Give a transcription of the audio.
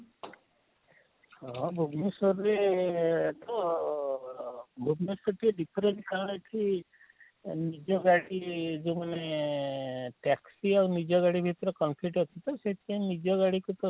ହଁ ଭୁବନେଶ୍ୱରରେ ତ ଆଃ ଭୁବନେଶ୍ୱର ରେ ଟିକେ different କାଣା ହେସି ନିଜ ଗାଡି ଯେଉଁ ମାନେ ଅଁ ଅଁ taxi ଆଉ ନିଜ ଗାଡି ଭିତରେ ଅଛି ତ ସେଥି ପାଇଁ ନିଜ ଗାଡିକୁ ତ